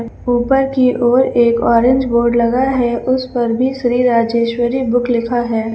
ऊपर की ओर एक ऑरेंज बोर्ड लगा है उस पर भी श्री राजेश्वरी बुक लिखा है।